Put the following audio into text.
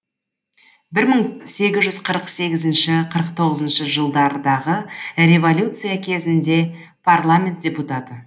бір мың сегіз жүз қырық сегіз қырық тоғызыншы жылдардағы революция кезінде парламент депутаты